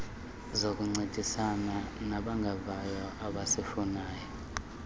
zokuncedisana nabangevayo abazifunayo